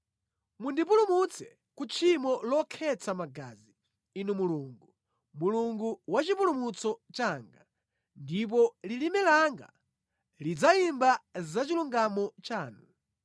Mundipulumutse ku tchimo lokhetsa magazi, Inu Mulungu, Mulungu wa chipulumutso changa, ndipo lilime langa lidzayimba zachilungamo chanu.